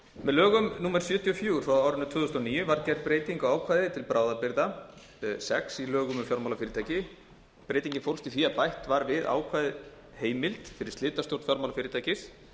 með lögum númer sjötíu og fjögur tvö þúsund og níu var gerð breyting á ákvæði til bráðabirgða sex í lögum um fjármálafyrirtæki breytingin fólst í því að bætt var við ákvæðið heimild fyrir slitastjórn fjármálafyrirtækis